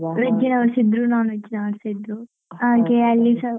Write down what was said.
Veg ನವರುಸ ಇದ್ರು non-veg ನವರುಸ ಇದ್ರು ಹಾಗೆ ಅಲ್ಲಿಸ